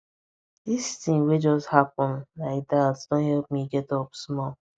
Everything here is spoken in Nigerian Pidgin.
this thing wey just happen like that don help me get up small